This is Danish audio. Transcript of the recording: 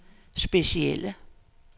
specielle